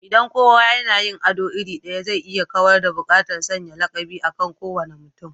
Idan kowa yana yin ado iri ɗaya, zai iya kawar da buƙatar sanya lakabi akan kowane mutum